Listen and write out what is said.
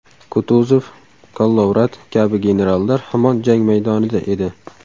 Kutuzov, Kollovrat kabi generallar hamon jang maydonida edi.